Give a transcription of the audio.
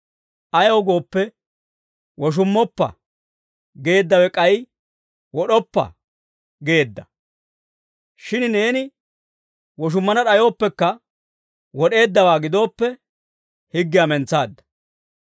Ayaw gooppe, «Woshummoppa» geeddawe k'ay «Wod'oppa» geedda; shin neeni woshummana d'ayooppekka, wod'eeddawaa gidooppe, higgiyaa mentsaadda.